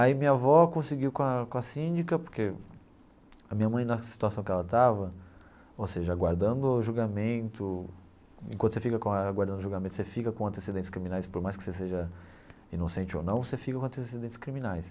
Aí minha avó conseguiu com a com a síndica, porque a minha mãe, na situação que ela estava, ou seja, aguardando o julgamento, enquanto você fica com a aguardando o julgamento, você fica com antecedentes criminais, por mais que você seja inocente ou não, você fica com antecedentes criminais.